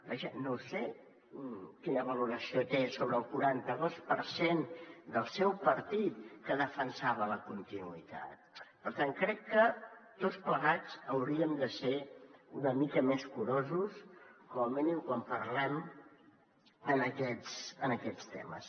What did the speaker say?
vaja no sé quina valoració té sobre el quaranta dos per cent del seu partit que defensava la continuïtat per tant crec que tots plegats hauríem de ser una mica més curosos com a mínim quan parlem en aquests temes